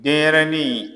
Denɲɛrɛnin